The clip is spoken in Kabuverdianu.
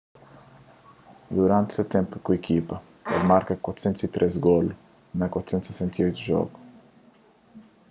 duranti se ténpu ku ikipa el marka 403 golu na 468 djogu